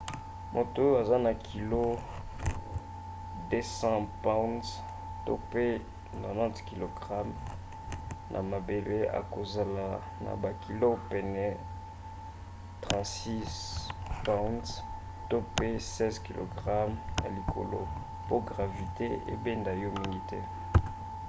moto oyo aza na kilo 200 pounds 90kg na mabele akozala na bakilo pene ya 36 pounds 16kg na likolo. mpo gravite ebenda yo mingi te